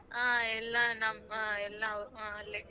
ಆ ಎಲ್ಲಾ ನಮ್ ಆ ಎಲ್ಲಾ ಅವ್ ಅಲ್ಲೇ.